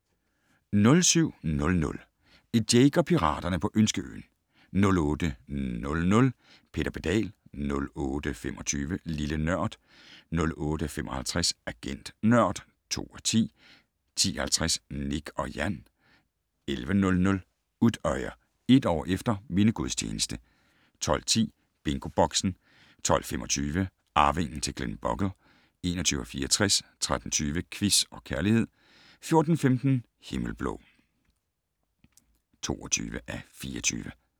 07:00: Jake og piraterne på Ønskeøen 08:00: Peter Pedal 08:25: Lille Nørd 08:55: Agent Nørd (2:10) 10:50: Nik & Jan 11:00: Utøya - et år efter: Mindegudstjeneste 12:10: BingoBoxen 12:25: Arvingen til Glenbogle (21:64) 13:20: Quiz og Kærlighed 14:15: Himmelblå (22:24)